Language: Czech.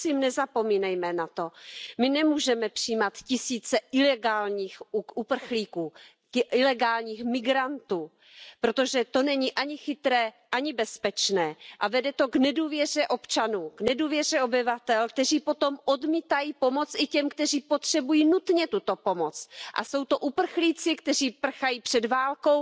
Prosím nezapomínejme na to. My nemůžeme přijímat tisíce ilegálních uprchlíků, ilegálních migrantů, protože to není ani chytré, ani bezpečné a vede to k nedůvěře občanů, k nedůvěře obyvatel, kteří potom odmítají pomoct i těm, kteří potřebují nutně tuto pomoc a jsou to uprchlíci, kteří prchají před válkou,